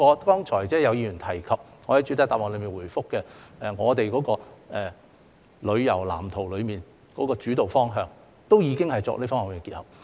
剛才有議員提及，我在主體答覆中亦有回覆，我們在《發展藍圖》的主導方向中，已有作出這方面的結合。